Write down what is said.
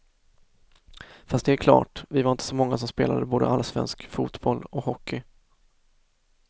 Fast det är klart, vi var inte så många som spelade både allsvensk fotboll och hockey.